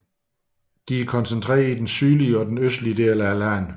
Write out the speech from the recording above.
De er koncentreret i den sydlige og østlige del af landet